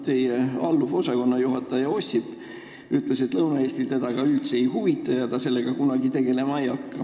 Teile alluv osakonnajuhataja Ossip ütles, et Lõuna-Eesti teda üldse ei huvita ja ta sellega kunagi tegelema ei hakka.